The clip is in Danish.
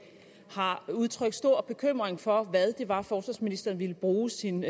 har udtrykt stor bekymring for hvad det var forsvarsministeren ville bruge sin